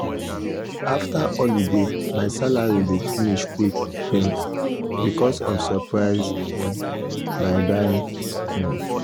after holiday my salary dey finish quick um because of surprise um buy buy um